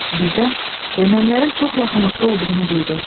Birdən ermənilərin çox yaxınlıqda olduğunu duydu.